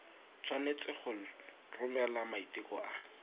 tshwanetse go romela maiteko a